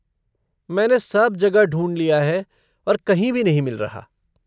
मैंने सब जगह ढूँढ लिया है और कहीं भी नहीं मिल रहा।